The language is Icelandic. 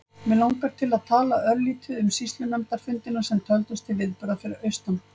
Mig langar til að tala örlítið um sýslunefndarfundina sem töldust til viðburða fyrir austan.